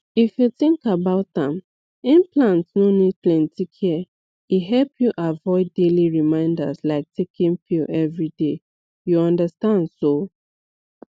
if you think about am implant no need plenty care e help you avoid daily reminders like taking pill every day you understand so